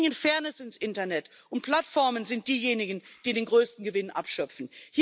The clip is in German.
Wir bringen Fairness ins Internet, und Plattformen sind diejenigen, die den größten Gewinn abschöpfen.